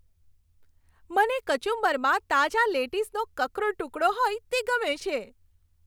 મને કચુંબરમાં તાજા લેટીસનો કકરો ટુકડો હોય તે ગમે છે.